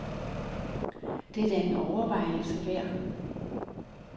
Det er da en overvejelse værd.